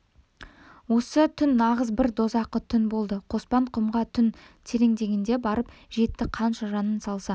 осы түн нағыз бір дозақы түн болды қоспан құмға түн тереңдегенде барып жетті қанша жанын салса